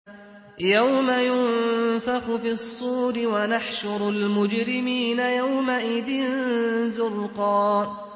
يَوْمَ يُنفَخُ فِي الصُّورِ ۚ وَنَحْشُرُ الْمُجْرِمِينَ يَوْمَئِذٍ زُرْقًا